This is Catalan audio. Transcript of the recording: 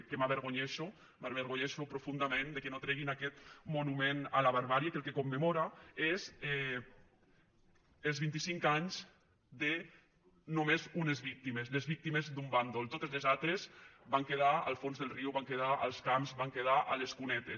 que m’avergonyeixo m’avergonyeixo profundament que no treguin aquest monument a la barbàrie que el que commemora és els vint i cinc anys de només unes víctimes les víctimes d’un bàndol totes les altres van quedar al fons del riu van quedar als camps van quedar a les cunetes